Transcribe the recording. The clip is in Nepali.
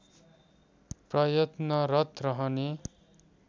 प्रयत्नरत रहने